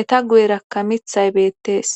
eta guyerakka mithay beettees.